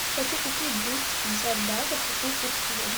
хочу купить двести пятьдесят батов какой курс сегодня